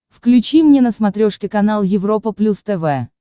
включи мне на смотрешке канал европа плюс тв